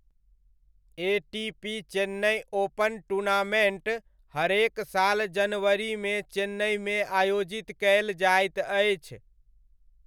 ATP Chennai Open tournament हरेक साल जनवरीमे चेन्नइमे आयोजित कयल जाइत अछि।